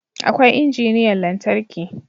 Akwai injiniyan lantarki